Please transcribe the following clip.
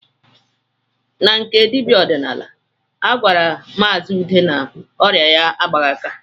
Na nke dibịa ọdịnala, a gwara maazi Ude na ọrịa ya agbaghị aka